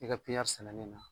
I ka sɛnɛnen na